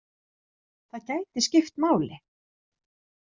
Það gæti skipt máli.